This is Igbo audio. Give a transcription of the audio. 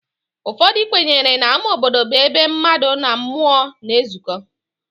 Ụfọdụ kwenyere na ama obodo bụ ebe mmadụ na mmụọ na-ezuko